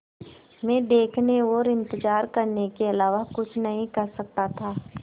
मैं देखने और इन्तज़ार करने के अलावा कुछ नहीं कर सकता था